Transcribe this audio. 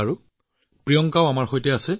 ঠিক আছে প্ৰিয়ংকাও আমাৰ লগত আছে